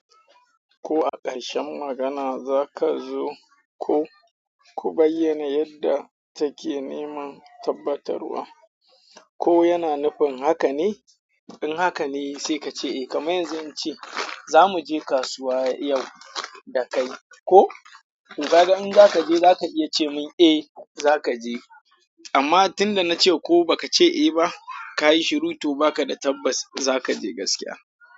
Ko a ƙarshen magana za ka zo ko ku bayyana yadda take neman tabbatarwa. Ko yana nufin haka ne? In haka ne sai ka ce eh. Kaman yanzu in ce za mu je kasuwa yau da kai ko, to ka ga in za ka je, za ka iya ce min eh za ka je. Amma tunda na ce ko ba ka ce eh ba, ka yi shiru, to ba ka da tabbas za ka je gaskiya.